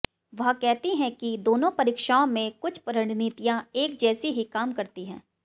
वह कहती हैं कि दोनों परीक्षाओं में कुछ रणनीतियां एक जैसी ही काम करती हैं